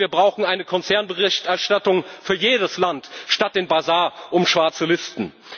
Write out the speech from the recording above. Und wir brauchen eine Konzernberichterstattung für jedes Land statt des Basars um schwarze Listen.